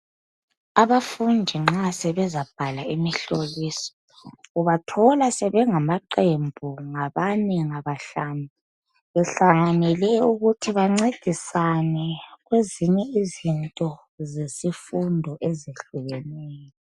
Abafundi nxa sebezabhala imihloliso ubathola sebengamaqembu ngabane ngabahlanu behlanganele ukuthi bancedisane kwezinye izinto zesifundo ezihlukeneyo